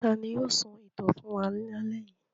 Ta ni yóò sọ ìtàn fún wa lálẹ́ yìí?